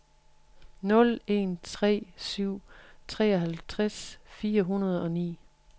nul en tre syv treoghalvtreds fire hundrede og ni